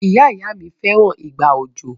Ìyá-ìyá-mi fẹ́ràn ìgbà òjò.